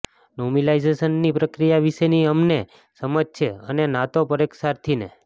નોમિલાઈઝેશનની પ્રક્રિયા વિશેની અમને સમજ છે અને ના તો પરીક્ષાર્થી ને